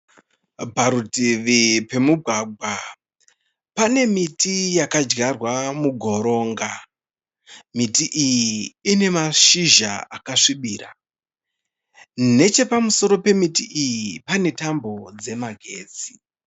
Parutivi pemugwagwa pane miti yakadyarwa mugoronga. Miti iyi ine mashizha akasvibira. Nechepamusoro pemiti iyi pane tambo dzemagetsi.